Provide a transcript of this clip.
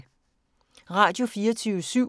Radio24syv